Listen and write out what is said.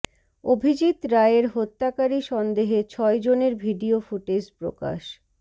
অভিজিৎ রায়ের হত্যাকারী সন্দেহে ছয় জনের ভিডিও ফুটেজ প্রকাশ